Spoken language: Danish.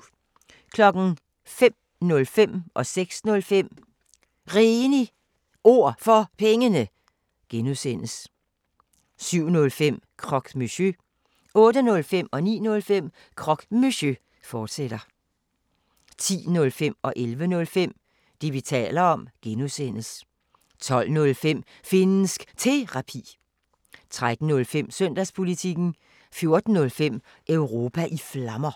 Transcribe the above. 05:05: Réne Ord For Pengene (G) 06:05: Réne Ord For Pengene (G) 07:05: Croque Monsieur 08:05: Croque Monsieur, fortsat 09:05: Croque Monsieur, fortsat 10:05: Det, vi taler om (G) 11:05: Det, vi taler om (G) 12:05: Finnsk Terapi 13:05: Søndagspolitikken 14:05: Europa i Flammer